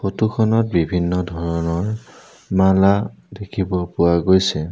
Photo খনত বিভিন্ন ধৰণৰ মালা দেখিব পোৱা গৈছে।